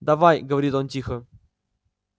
давай говорит он тихо